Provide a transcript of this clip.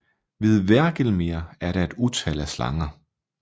Ved Hvergelmir er der et utal af slanger